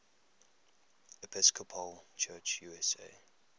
episcopal church usa